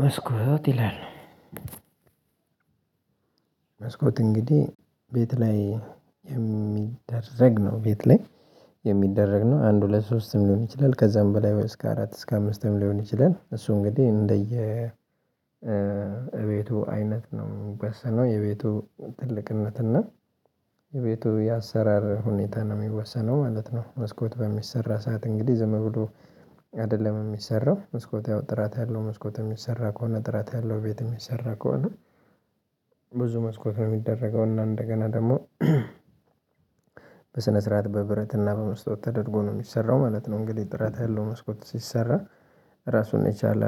መስኮት ይላል። መስኮት እንግዲህ ቤት ላይ የሚደረግ ነው ቤት ላይ የሚደረግ ነው። አንድ ሁለት ሶስትም ሊሆን ይችላል ከዛም በላይ እስከ አራት እስከ አምስትም ሊሆን ይችላል። እሱ እንግዲህ እንደየ እቤቱ አይነት ነው የሚወሰነው የቤቱ ትልቅነት እና የቤቱ የአሰራር ሁኔታ ነው የሚወሰነው ማለት ነው። መስኮት በሚሰራ ሰዓት እንግዲህ ዝም ብሎ አይደለም የሚሰራው። መስኮት ያው ጥራት ያለው መስኮት የሚሰራ ከሆነ ጥራት ያለው ቤት የሚሰራ ከሆነ ብዙ መስኮት ነው የሚደረገው። እና እንደገና ደግሞ በስነ ስርዓት በብረት እና በመስተዋት ተደርጎ ነው የሚሰራው ማለት ነው። እንግዲህ ጥራት ያለው መስኮት ሲሰራ ራሱን የቻለ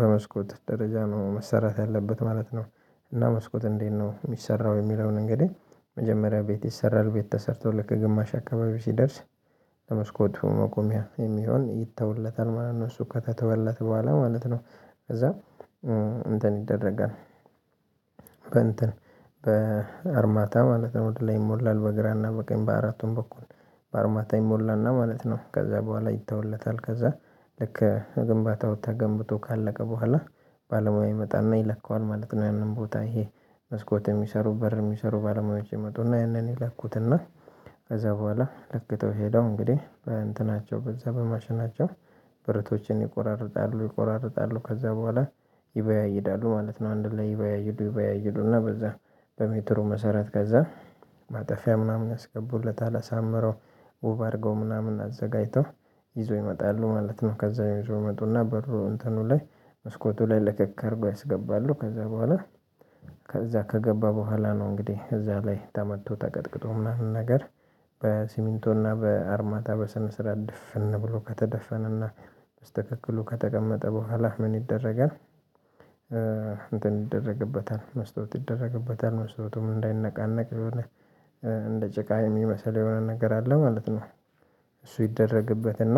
በመስኮት ደረጃ ነው መሰራት ያለበት ማለት ነው። እና መስኮት እንዴት ነው የሚሰራው? የሚለውን እንግዲህ መጀመሪያ ቤት ይሰራል ቤት ተሰርቶ ልክ ግማሽ አካባቢ ሲደርስ ለመስኮት መቆሚያ የሚሆን ይተውለታል ማለት ነው። እሱ ከተተወለት በኋላ ማለት ነው። ከዛ እንትን ይደረጋል። በእንትን በአርማታ ማለት ነው ወደ ላይ ይሞላል በግራና በቀኝ በአራቱም በኩል በአርማታ ይሞላና ማለት ነው። ከዛ በኋላ ይተውለታል። ከዛ ልክ ግንባው ተገንብቶ ካለቀ በኋላ ባለሙያ ይመጣና ይለካዋል ማለት ነው። ያንን ቦታ ይሄ መስኮት የሚሰሩ በር የሚሰሩ ባለሙያዎች ይመጡና ያንን ይለኩትና። ከዛ በኋላ ለክተው ሄደው እንግዲህ በእንትናቸው በዛ በማሽናቸው ብረቶችን ይቆራርጣሉ ይቆራርጣሉ ከዛ በኋላ ይበያይዳሉ ማለት ነው። አንድ ላይ ይበያይዱ ይበያይዱ እና በዛ በሜትሩ መሰረት ከዛ ማጠፊያ ምናምን ያስገቡለታል አሳምረው ውብ አድርገው ምናምን አዘጋጅተው ይዞ ይመጣሉ ማለት ነው። ከዛ ይዞ ይመጡና በሩ እንትኑ ላይ መስኮቱ ላይ ለክክ አድርጎ ያስገባሉ። ከዛ በኋላ ከዛ ከገባ በኋላ ነው። እንግዲህ እዛ ላይ ተመቶ ተቀጥቅጦ ምናምን ነገር በሲሚንቶና በአርማታ በስነ ስርዓት ደፍን ብሎ ከተደፈነና በስትክክሉ ከተቀመጠ በኋላ ምን ይደረጋል? እንትን ይደረግበታል መስታወት ይደረግበታል መስታወቱም እንዳይነቃነቅ እንደ ጭቃ የሚመስል የሆነ ነገር አለ ማለት ነው። እሱ ይደረግበት እና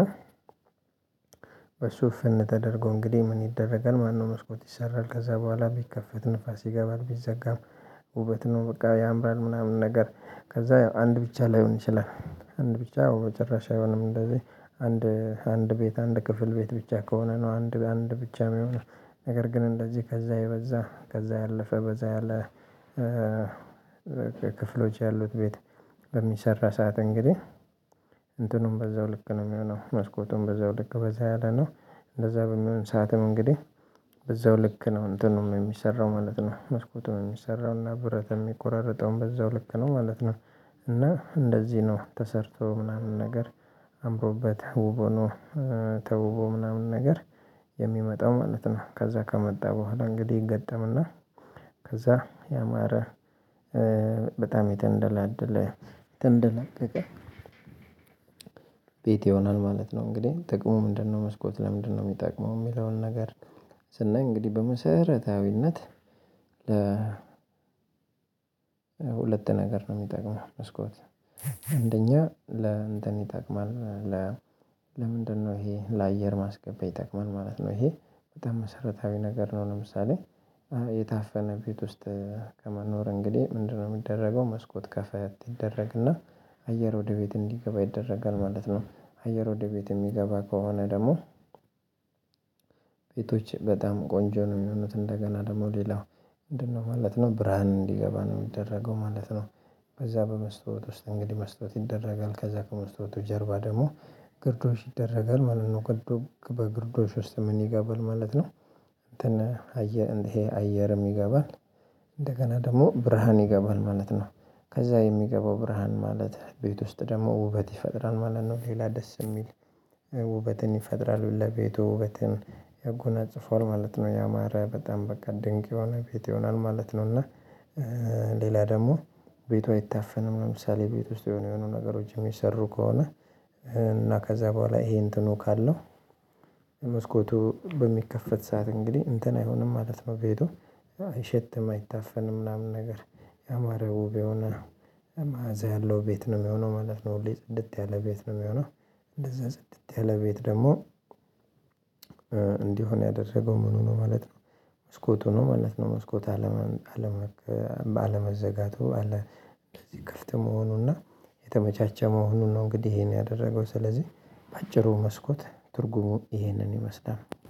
በሱ እፍን ተደርጎ እንግዲህ ምን ይደረጋል? ማለት ነው መስኮት ይሰራል። ከዛ በኋላ ቢከፈት ንፋስ ይገባል ቢዘጋም ውበት ነው። በቃ ያምራል ምናምን ነገር ከዛ ያው አንድ ብቻ ላይሆን ይችላል። አንድ ብቻ መጨረሻ አይሆንም እንደዚህ አንድ አንድ ቤት አንድ ክፍል ቤት ብቻ ከሆነ ነው አንድ አንድ ብቻ የሚሆነው። ነገር ግን እንደዚህ ከዛ የበዛ ከዛ ያለፈ በዛ ያለ ክፍሎች ያሉት ቤት በሚሰራ ሰዓት እንግዲህ እንትኑም በዛው ልክ ነው የሚሆነው። መስኮቱም በዛው ልክ በዛ ያለ ነው። እንደዛ በሚሆን ሰዓትም እንግዲህ በዛው ልክ ነው እንትኑም ነው የሚሰራው ማለት ነው። መስኮቱም የሚሰራው እና ብረትም የሚቆራርጠውም በዛው ልክ ነው ማለት ነው። እና እንደዚህ ነው ተሰርቶ ምናምን ነገር አምሮበት ውብ ሆኖ ተውቦ ምናምን ነገር የሚመጣው ማለት ነው። ከዛ ከመጣ በኋላ እንግዲህ ይገጠምና። ከዛ ያማረ በጣም የተንደላደለ የተንደላቀቀ ቤት ይሆናል ማለት ነው። እንግዲህ ጥቅሙ ምንድነው? መስኮት ለምንድነው የሚጠቅመው የሚለውን ነገር። ስናይ እንግዲህ በመሰረታዊነት ለ ሁለት ነገር ነው የሚጠቅመው። መስኮት አንደኛ ለእንትን ይጠቅማል። ለምንድነው ይሄ ለአየር ማስገበያ ይጠቅማል ማለት ነው። ይሄ በጣም መሰረታዊ ነገር ነው። ለምሳሌ የታፈነ ቤት ውስጥ ከመኖር እንግዲህ ምንድነው የሚደረገው? መስኮት ከፈት ይደረግና አየር ወደ ቤት እንዲገባ ይደረጋል ማለት ነው። አየር ወደ ቤት የሚገባ ከሆነ ደግሞ ቤቶች በጣም ቆንጆ ነው የሚሆኑት። እንደገና ደግሞ ሌላው ምንድነው ማለት ነው ብርሃን እንዲገባ ነው የሚደረገው ማለት ነው። በዛ በመስተዋወት ውስጥ እንግዲህ መስተዋወት ይደረጋል ከዛ ከመስታውቱ ጀርባ ደግሞ ግርዶሽ ይደረጋል ማለት ነው። በግርዶሽ ውስጥ ምን ይገባል ማለት ነው። እንትን አየር ይሄ አየርም ይገባል። እንደገና ደግሞ ብርሃን ይገባል ማለት ነው። ከዛ የሚገባው ብርሃን ማለት ቤት ውስጥ ደግሞ ውበት ይፈጥራል ማለት ነው። ሌላ ደስ የሚል ውበትን ይፈጥራሉ ለቤቱ ውበትን ያጎናጽፈዋል ማለት ነው። ያማረ በጣም በቃ ድንቅ የሆነ ቤት ይሆናል ማለት ነው። እና ሌላ ደግሞ ቤቱ አይታፈንም። ለምሳሌ ቤት ውስጥ የሆነ የሆነ ነገሮች የሚሰሩ ከሆነ እና ከዛ በኋላ ይሄን እንትኑ ካለው መስኮቱ በሚከፈት ሰዓት እንግዲህ እንትን አይሆንም ማለት ነው። ቤቱ አይሸትም አይታፈንም ምናምን ነገር። ያማረ ውብ የሆነ መዓዛ ያለው ቤት ነው የሚሆነው ማለት ነው። ሁሌ ጽድት ያለ ቤት ነው የሚሆነው። እንደዛ ጽድት ያለ ቤት ደግሞ እንዲሆን ያደረገው ምኑ ነው ማለት ነው። መስኮቱ ነው ማለት ነው። መስኮት አለመን አለመዘጋቱ አለ እንደዚህ ክፍት መሆኑና የተመቻቸ መሆኑን ነው። እንግዲህ ይሄን ያደረገው ስለዚህ በአጭሩ መስኮት ትርጉሙ ይሄንን ይመስላል።